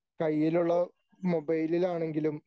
കയ്യിലുള്ള മൊബൈലിലാണെങ്കിലും